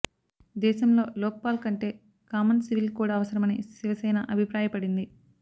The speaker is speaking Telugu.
దేశంలో లోక్పాల్ కంటే కామన్ సివిల్ కోడ్ అవసరమని శివసేన అభిప్రాయపడింది